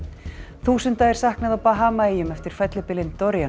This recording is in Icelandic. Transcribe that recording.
þúsunda er saknað á Bahamaeyjum eftir fellibylinn